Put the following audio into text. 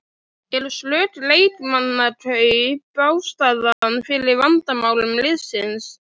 Eru slök leikmannakaup ástæðan fyrir vandamálum liðsins?